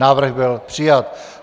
Návrh byl přijat.